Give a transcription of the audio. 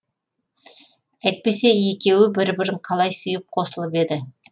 әйтпесе екеуі бір бірін қалай сүйіп қосылып еді